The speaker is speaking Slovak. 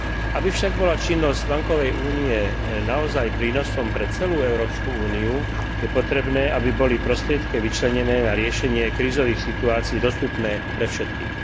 Aby však bola činnosť bankovej únie naozaj prínosom pre celú Európsku úniu, je potrebné, aby boli prostriedky vyčlenené na riešenie krízových situácií dostupné pre všetkých.